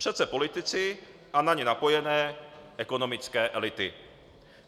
Přece politici a na ně napojené ekonomické elity.